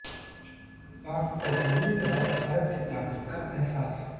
पाक को होने लगा भारत की ताकत का अहसास